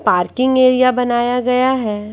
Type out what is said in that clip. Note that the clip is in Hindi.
पार्किंग एरिया बनाया गया है।